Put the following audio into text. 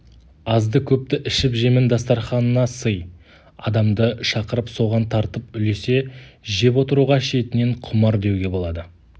азды-көпті ішіп-жемін дастарқанына сый адамды шақырып соған тартып үлесе жеп отыруға шетінен құмар деуге болады